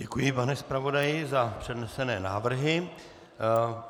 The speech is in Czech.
Děkuji, pane zpravodaji, za přednesené návrhy.